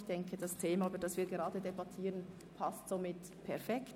Ich denke, das Thema, über welches wir gerade debattieren, passt perfekt.